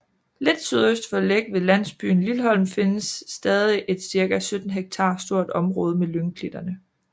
Lidt sydøst for Læk ved landsbyen Lilholm findes stadig et cirka 17 hektar stort område med lyngklitterne